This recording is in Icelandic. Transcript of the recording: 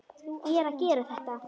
Ég er að gera þetta.